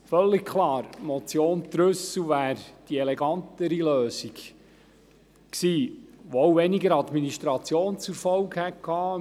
Völlig klar, die Motion Trüssel wäre die elegantere Lösung gewesen, die auch weniger Administration zur Folge gehabt hätte.